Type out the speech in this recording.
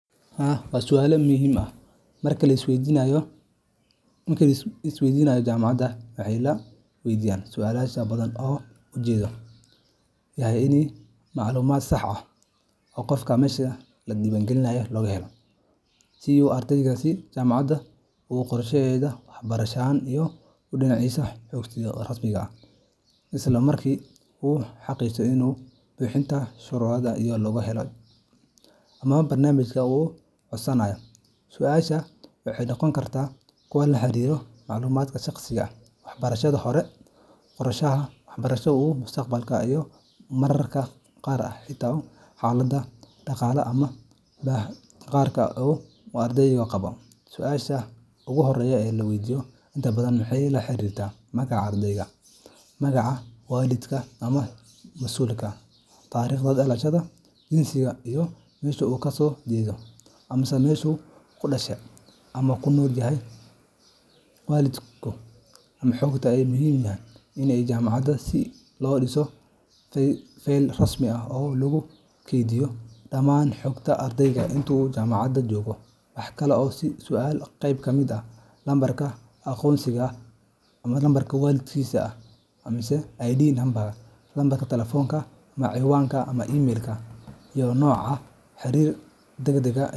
Haa waa sualo muhim ah. Marka la isdiiwaangelinayo jaamacadda, waxaa la weydiiyaa su’aalo badan oo ujeedkoodu yahay in la helo macluumaad sax ah oo dhammaystiran oo ku saabsan ardayga si jaamacaddu u qorshayso waxbarashadiisa, u diiwaangeliso xogtiisa rasmiga ah, isla markaana u xaqiijiso in uu buuxinayo shuruudaha lagu galo kulliyadda ama barnaamijka uu codsanayo. Su’aalahaasi waxay noqon karaan kuwo la xiriira macluumaadka shaqsiga ah, waxbarashadii hore, qorshaha waxbarasho ee mustaqbalka, iyo mararka qaar xitaa xaaladdiisa dhaqaale ama baahiyaha gaarka ah ee uu ardaygu qabo. Su’aalaha ugu horreeya ee la weydiiyo inta badan waxay la xiriiraan magaca ardayga, magaca waalidka ama mas’uulka, taariikhda dhalashada, jinsiga, iyo meesha uu ku dhashay ama ku nool yahay. Xogtan ayaa muhiim u ah jaamacadda si loo dhiso feyl rasmi ah oo lagu kaydiyo dhammaan xogta ardayga inta uu jaamacadda joogo. Waxa kale oo su’aalahaasi qeyb ka ah lambarka aqoonsiga ardayga ID number, lambarka taleefanka, cinwaanka email-ka, iyo nooca xiriirka degdegga ah.